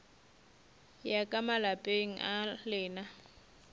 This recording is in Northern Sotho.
ya ka malapeng a lena